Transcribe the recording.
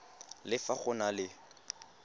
le fa go na le